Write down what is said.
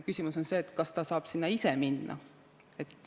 Küsimus on ka selles, kas ta saab sinna ise minna.